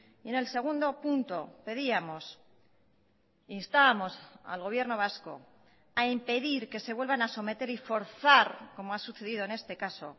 y en el segundo punto pedíamos instábamos al gobierno vasco a impedir que se vuelvan a someter y forzar como ha sucedido en este caso